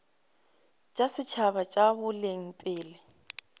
tša setšhaba tša boleng pele